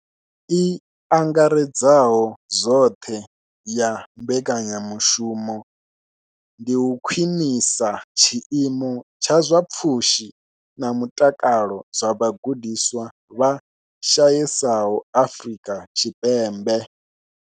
I angaredzaho zwoṱhe ya mbekanyamushumo ndi u khwinisa tshiimo tsha zwa pfushi na mutakalo zwa vhagudiswa vha shayesaho Afrika Tshipembe.